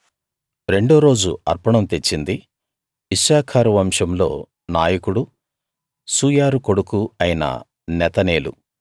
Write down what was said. రెండో రోజు అర్పణం తెచ్చింది ఇశ్శాఖారు వంశంలో నాయకుడూ సూయారు కొడుకూ అయిన నెతనేలు